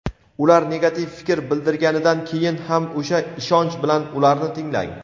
ular negativ fikr bildirganidan keyin ham o‘sha ishonch bilan ularni tinglang.